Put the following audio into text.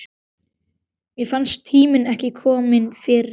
Mér fannst tíminn ekki kominn fyrr.